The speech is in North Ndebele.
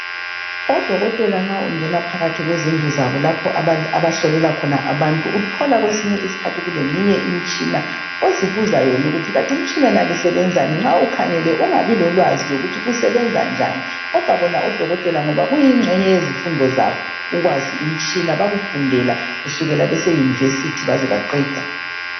Odokotela nxa ungena phakathi kwezindlu zabo lapho abahlolela khona abantu uthola kwesinye iskhathi kuleminye imitshina ozibuza yona ukuthi kathi imitshina yonale osebenzani nxa ukhangele ungabi lolwazi lokuthi usebenza njani kodwa bona odokotela ngoba kuyingxenye yezifundo zabo ukwazi imtshina bakufundela kusukela beseuniversity baze baqeda.